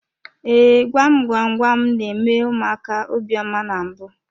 Ee, gwam gwam gwam n'eme ụmụaka obiọma na mbụ.